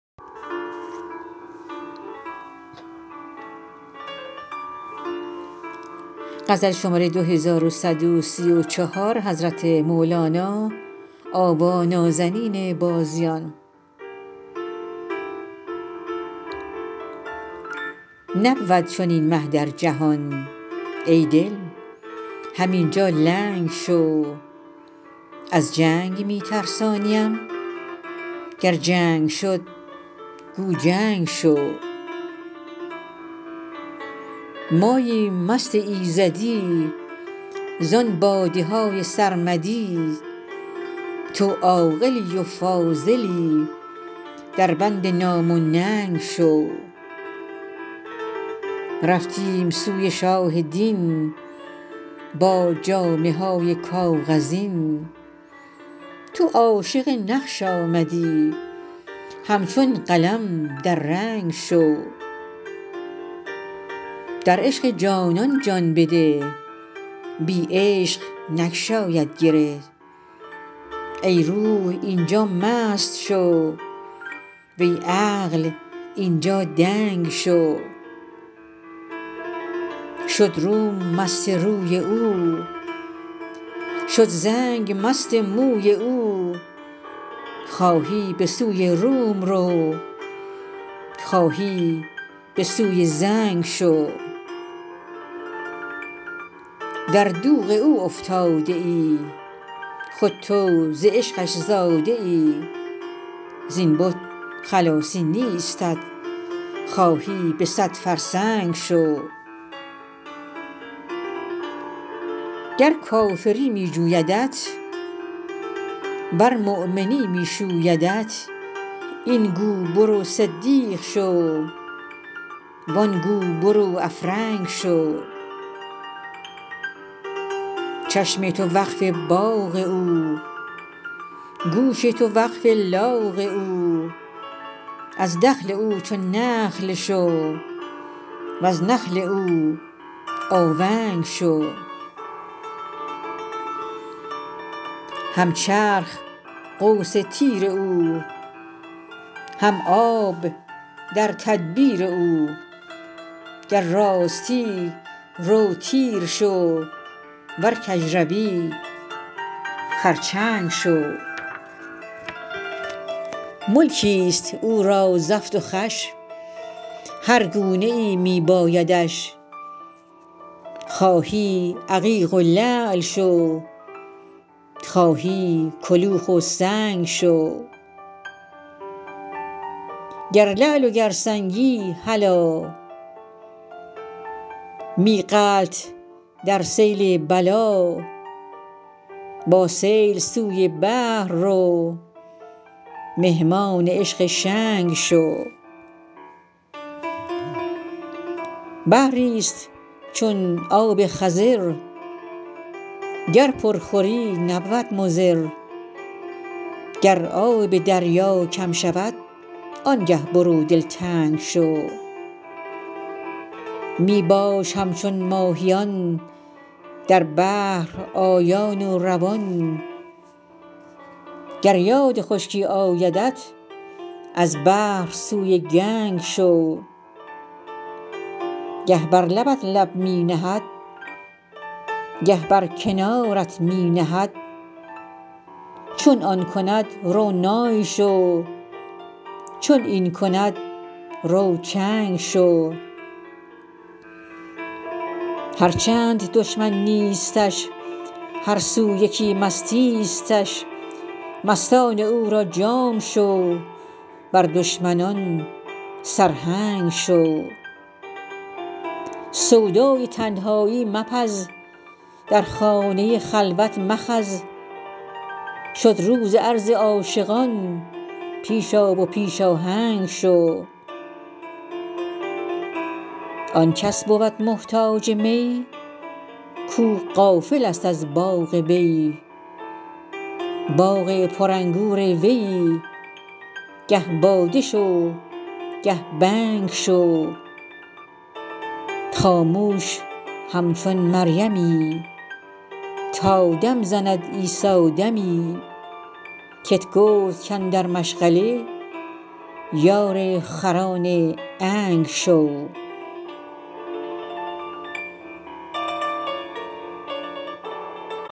نبود چنین مه در جهان ای دل همین جا لنگ شو از جنگ می ترسانیم گر جنگ شد گو جنگ شو ماییم مست ایزدی زان باده های سرمدی تو عاقلی و فاضلی دربند نام و ننگ شو رفتیم سوی شاه دین با جامه های کاغذین تو عاشق نقش آمدی همچون قلم در رنگ شو در عشق جانان جان بده بی عشق نگشاید گره ای روح این جا مست شو وی عقل این جا دنگ شو شد روم مست روی او شد زنگ مست موی او خواهی به سوی روم رو خواهی به سوی زنگ شو در دوغ او افتاده ای خود تو ز عشقش زاده ای زین بت خلاصی نیستت خواهی به صد فرسنگ شو گر کافری می جویدت ورمؤمنی می شویدت این گو برو صدیق شو و آن گو برو افرنگ شو چشم تو وقف باغ او گوش تو وقف لاغ او از دخل او چون نخل شو وز نخل او آونگ شو هم چرخ قوس تیر او هم آب در تدبیر او گر راستی رو تیر شو ور کژروی خرچنگ شو ملکی است او را زفت و خوش هر گونه ای می بایدش خواهی عقیق و لعل شو خواهی کلوخ و سنگ شو گر لعل و گر سنگی هلا می غلت در سیل بلا با سیل سوی بحر رو مهمان عشق شنگ شو بحری است چون آب خضر گر پر خوری نبود مضر گر آب دریا کم شود آنگه برو دلتنگ شو می باش همچون ماهیان در بحر آیان و روان گر یاد خشکی آیدت از بحر سوی گنگ شو گه بر لبت لب می نهد گه بر کنارت می نهد چون آن کند رو نای شو چون این کند رو چنگ شو هر چند دشمن نیستش هر سو یکی مستیستش مستان او را جام شو بر دشمنان سرهنگ شو سودای تنهایی مپز در خانه خلوت مخز شد روز عرض عاشقان پیش آ و پیش آهنگ شو آن کس بود محتاج می کو غافل است از باغ وی باغ پرانگور ویی گه باده شو گه بنگ شو خاموش همچون مریمی تا دم زند عیسی دمی کت گفت کاندر مشغله یار خران عنگ شو